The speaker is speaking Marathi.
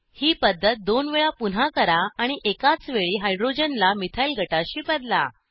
ही पद्धत दोन वेळा पुन्हा करा आणि एकाच वेळी हायड्रोजनला मिथाईल गटाशी बदला